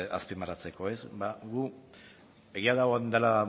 azpimarratzeko ba gu egia da orain dela